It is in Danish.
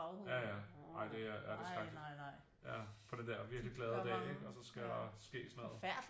Ja ja ej det er skrækkeligt ja på den der virkeligt glade dag ikke og så skal der ske sådan noget